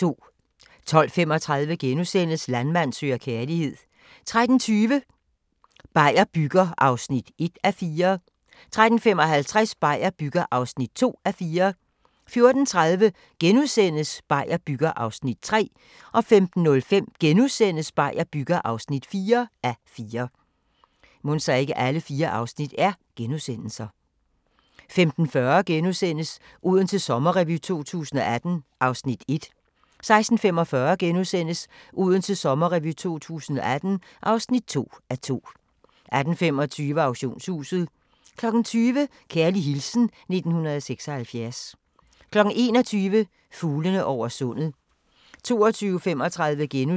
12:35: Landmand søger kærlighed * 13:20: Beier bygger (1:4) 13:55: Beier bygger (2:4) 14:30: Beier bygger (3:4)* 15:05: Beier bygger (4:4)* 15:40: Odense Sommerrevy 2018 (1:2)* 16:45: Odense Sommerrevy 2018 (2:2)* 18:25: Auktionshuset 20:00: Kærlig hilsen 1976 21:00: Fuglene over sundet